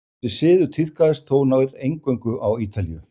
Þessi siður tíðkaðist þó nær eingöngu á Ítalíu.